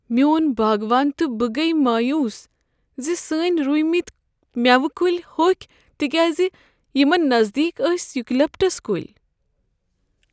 میون باغوان تہٕ بہٕ گٔیہ مایوس زِ سٲنۍ رُومتۍ میوٕ کلۍ ہوٚکھۍ تکیازِ یمن نزدیک ٲسۍ یُوکلپٹس کُلۍ۔